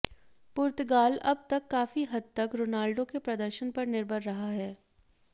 पुर्तगाल अब तक काफी हद तक रोनाल्डो के प्रदर्शन पर निर्भर रहा है